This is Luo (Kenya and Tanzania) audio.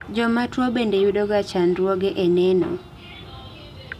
jomatuwo bende yudoga chandruoge e neno